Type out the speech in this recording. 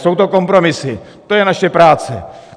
Jsou to kompromisy, to je naše práce.